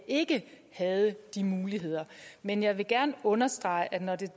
ikke havde de muligheder men jeg vil gerne understrege at